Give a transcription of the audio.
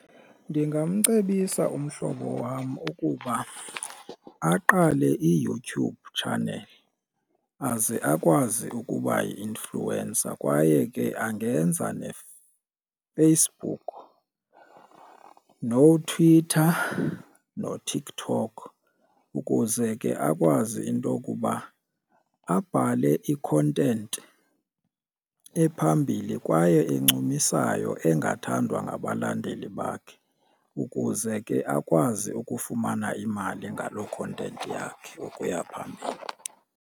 Ndingamcebisa umhlobo wam ukuba aqale iYouTube channel aze akwazi ukuba yi-influencer kwaye ke angenza neFacebook noTwitter noTikTok ukuze ke akwazi into okuba abhale i-content ephambili kwaye encumisayo engathandwa ngabalandeli bakhe ukuze ke akwazi ukufumana imali ngalo content yakhe ukuya phambili.